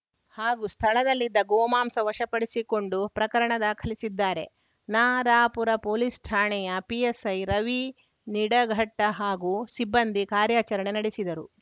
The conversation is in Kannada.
ಹಾಗೂ ಸ್ಥಳದಲ್ಲಿದ್ದ ಗೋಮಾಂಸ ವಶಪಡಿಸಿಕೊಂಡು ಪ್ರಕರಣ ದಾಖಲಿಸಿದ್ದಾರೆ ನರಾಪುರ ಪೊಲೀಸ್‌ ಠಾಣೆಯ ಪಿಎಸ್‌ಐರವಿನಿಡಘಟ್ಟಹಾಗೂ ಸಿಬ್ಬಂದಿ ಕಾರ್ಯಾಚರಣೆ ನಡೆಸಿದರು